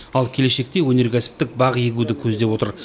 ал келешекте өнеркәсіптік бақ егуді көздеп отыр